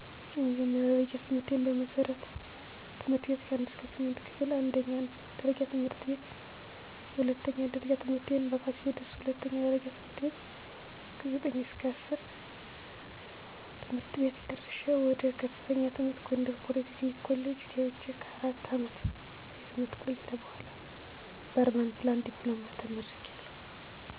የመጀመርያ ደረጃ ትምህርቴን በመሠረትት/ቤት ከ1-8 ክፍል አንደኛ ደረጃ ት/ቤት የሁለተኛ ደረጃ ትምህርቴን በፋሲለደስ ሁለተኛ ደረጃ ት/ከ9-10 ቤት ጨረሸ ወደ ከፍተኛ ትምህር ጎንደር ፖሊ ቴክኒክ ኮሌጅ ገብቸ ከ4 አመት የትምህርት ቆይታ በኋላ በኧርባን ፕላንኒንግ ዲፕሎማ ተመርቂያለሁ